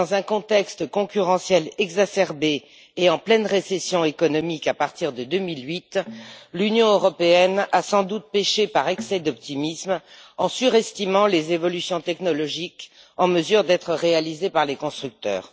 Dans un contexte concurrentiel exacerbé et en pleine récession économique à partir de 2008, l'Union européenne a sans doute péché par excès d'optimisme en surestimant les évolutions technologiques en mesure d'être réalisées par les constructeurs.